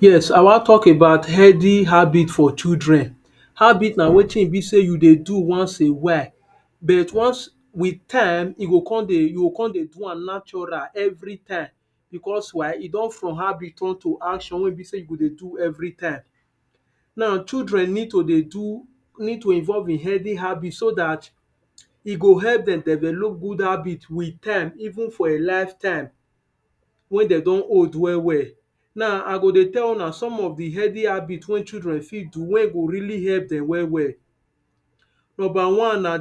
Yes, I wan talk about health habits for children. Habits na wetin e be sey you dey do once a while but with time, you go come dey do am natural everytime, because why, e don from habit turn to action wey be sey you dey do everytime Now children need to dey involve in healthy habits so that e go help dem develop good habits in time, even for a lifetime, when dem don old well well. Now, I go dey tell una some of the healthy habits wey children fit do wey go really help dem well well Number one na